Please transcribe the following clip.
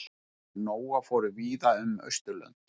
Niðjar Nóa fóru víða um Austurlönd.